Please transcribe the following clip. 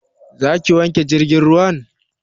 Za ka wanke jirgin ruwan?